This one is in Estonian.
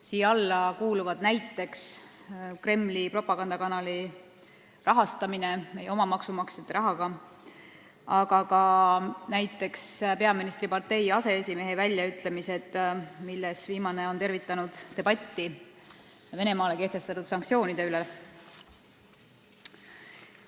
Siia alla kuuluvad näiteks Kremli propagandakanali rahastamine meie oma maksumaksjate rahaga, aga ka näiteks peaministripartei aseesimehe väljaütlemised, kes on tervitanud debatti Venemaa vastu kehtestatud sanktsioonide üle.